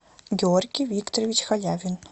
георгий викторович халявин